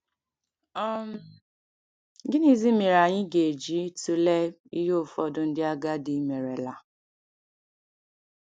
um Gịnịzi mere anyị ga-eji tụlee ihe ụfọdụ ndị agadi merela?